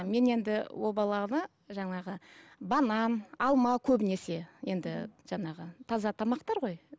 мен енді ол баланы жаңағы банан алма көбінесе енді жаңағы таза тамақтар ғой